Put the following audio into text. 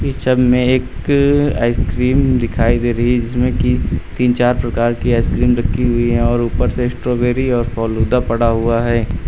इस छब में एक आइसक्रीम दिखाई दे रही इसमें की तीन चार प्रकार की आइसक्रीम रखी हुई है और ऊपर से स्ट्रॉबेरी और फालूदा पड़ा हुआ है।